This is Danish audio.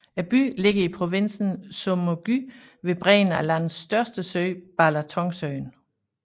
Byen ligger i provinsen Somogy ved bredden af landets største sø Balatonsøen